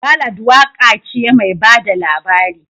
Ballad waka ce mai ba da labari